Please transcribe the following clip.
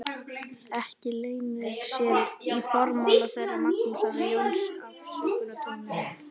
Ekki leynir sér í formála þeirra Magnúsar og Jóns afsökunartónninn.